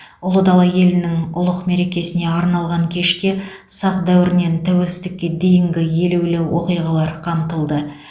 ұлы дала елінің ұлық мерекесіне арналған кеште сақ дәуірінен тәуелсіздікке дейінгі елеулі оқиғалар қамтылды